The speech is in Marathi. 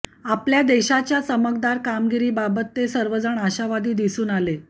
आपल्या देशाच्या चमकदार कामगिरीबाबत ते सर्वजण आशावादी दिसून आले